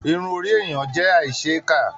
Irun orí èèyàn jẹ aísèéká.